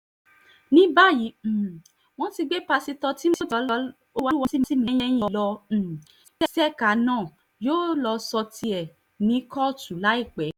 ní báyìí um wọ́n ti gbé um ṣèkà náà yóò lọ́ọ́ sọ tẹnu ẹ̀ ní kóòtù láìpẹ́